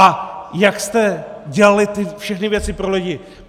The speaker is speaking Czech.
A jak jste dělali ty všechny věci pro lidi.